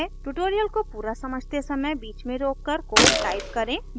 tutorial को पूरा समझते समय बीच में रोककर कोड टाइप करें